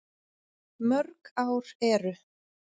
Mörg ár eru